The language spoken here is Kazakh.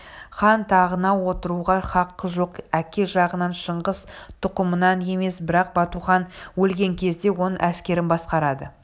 хан тағына отыруға хақы жоқ әке жағынан шыңғыс тұқымынан емес бірақ батухан өлген кезде оның әскерін басқарады